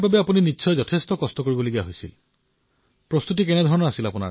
আপুনি কেতিয়া কোনো ক্ৰীড়াত অংশগ্ৰহণ কৰে নে